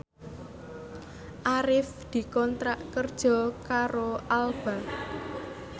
Arif dikontrak kerja karo Alba